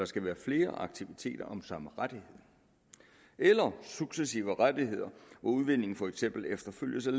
skal være flere aktiviteter om samme rettighed eller at successive rettigheder og udvinding for eksempel efterfølges af